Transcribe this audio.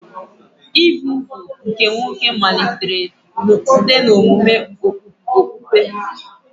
Ibi úgwù nke nwoke malitere site n'omume okpukpe.